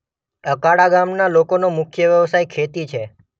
અકાળા ગામના લોકોનો મુખ્ય વ્યવસાય ખેતી છે.